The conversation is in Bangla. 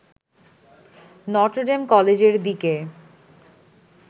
নটরডেম কলেজের দিকে